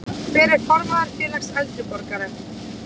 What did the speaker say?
Hver er formaður félags eldri borgara?